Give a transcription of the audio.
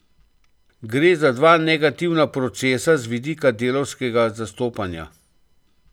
Gre za dva negativna procesa z vidika delavskega zastopanja.